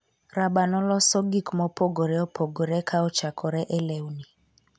raba noloso gik mopogore opogore ka ochakre e lewni,